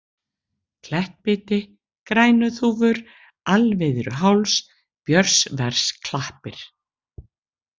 Klettbiti, Grænuþúfur, Alviðruháls, Björnsversklappir